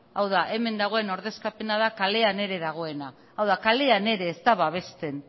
hau da hemen dagoen ordezkapena da kalen ere dagoena hau da kalean ere ez da babesten